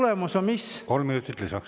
Ja tulemus on mis?